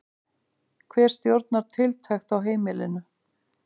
Hver stjórnar tiltekt á heimilinu?